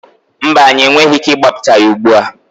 Mba, anyị enweghị ike ịgbapụta ya ugbu a.